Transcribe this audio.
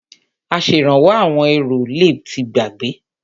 Aṣèrànwọ́ àwọn èrò le ti gbàgbé.